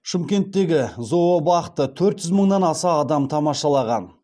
шымкенттегі зообақты төрт жүз мыңнан аса адам тамашалаған